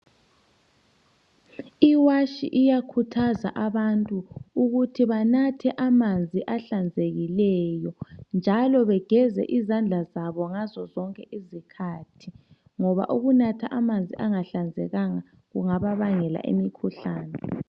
Iwatshi iyakhuthaza abantu ukuthi banathe amanzi ahlenzekileyo njalo bageze izandla zabo ngazo zonke izikhathi ngoba ukunatha amanzi angahlanzekanga kungaba bangela imkhuhlane.